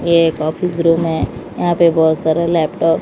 एक office room है यहां पे बहोत सारे लैपटॉप --